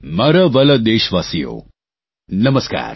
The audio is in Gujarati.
મારા વ્હાલા દેશવાસીઓ નમસ્કાર